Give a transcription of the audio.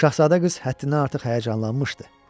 Şahzadə qız həddindən artıq həyəcanlanmışdı.